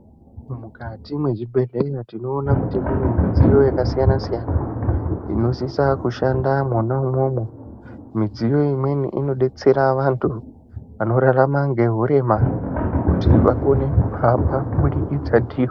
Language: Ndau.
Mukati mwezvibhehleya tinoona kuti mune midziyo yakasiyanasiyana inosisa kushanda mwonaumwomwo midziyo imweni inodetsera vanhu vanorarama ngehurema kuti vakone kuhamba kubudikidza ndiyo.